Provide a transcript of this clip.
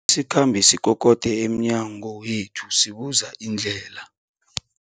sikhambi sikokode emnyango wethu sibuza indlela.